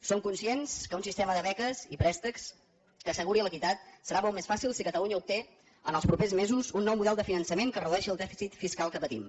som conscients que un sistema de beques i préstecs que asseguri l’equitat serà molt més fàcil si catalunya obté en els propers mesos un nou model de finançament que redueixi el dèficit fiscal que partim